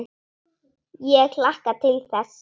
Ég hlakka til þess.